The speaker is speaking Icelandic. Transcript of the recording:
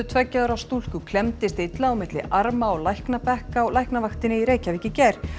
tveggja ára stúlku klemmdist illa á milli arma á læknabekk á Læknavaktinni í Reykjavík í gær